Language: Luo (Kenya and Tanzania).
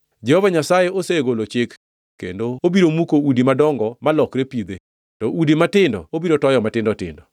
Jehova Nyasaye osegolo chik, kendo obiro muko udi madongo malokre pidhe, to udi matindo obiro toyo matindo tindo.